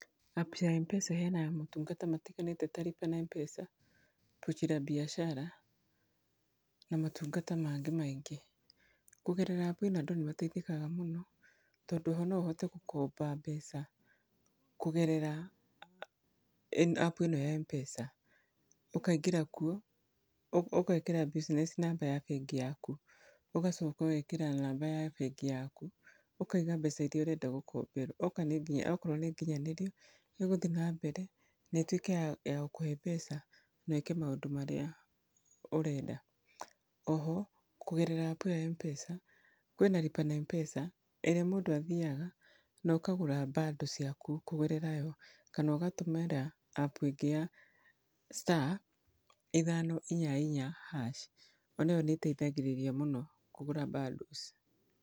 App ya Mpesa ĩheanaga maũtungata matiganĩte ta lipa na mpesa, pochi la biashara na maũtungata mangĩ maingĩ. Kũgerera apu ĩno andũ nĩmataithĩkaga mũno, tondũ oho noũhote gũkomba mbeca kũgerera apu ĩno ya mpesa. ũkaingĩra kuo, ũgekĩra business number ya bengi yaku, ũgacoka ũgekĩra namba ya bengi yaku, ũkauga mbeca iria ũrenda gũkomberwo. Okorwo nĩnginyanĩru, nĩgũthiĩ nambere, na ĩtuĩke ya gũkũhe mbeca wĩke maũndũ marĩa ũrenda. Oho, kũgerera apu ĩyo ya mpesa, kwĩna lipa na mpesa, ĩrĩa mũndũ athiaga, na ũkagũra bundle ciaku kũgerera yo, kana ũgatũmĩra apu ĩngĩ ya star ithano inya inya hash ona ĩyo nĩ ĩtaithagĩrĩria mũno kũgũra bundles.